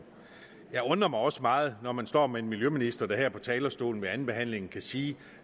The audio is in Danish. undrer mig også meget når man står med en miljøminister der her på talerstolen ved andenbehandlingen kan sige